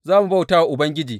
Za mu bauta wa Ubangiji.